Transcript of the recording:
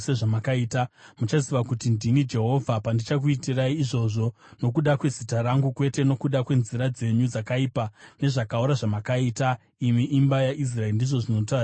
Muchaziva kuti ndini Jehovha, pandichakuitirai izvozvo nokuda kwezita rangu kwete nokuda kwenzira dzenyu dzakaipa nezvakaora zvamakaita imi imba yaIsraeri, ndizvo zvinotaura Ishe Jehovha.’ ”